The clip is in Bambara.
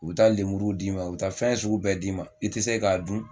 U bɛ taa lemuruw d'i ma u bɛ taa fɛn sugu bɛɛ d'i ma i tɛ se k'a dun.